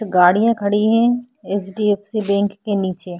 गाड़ियां खड़ी है एच.डी.एफ.सी. बैंक के नीचे।